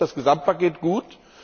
Deshalb ist das Gesamtpaket gut.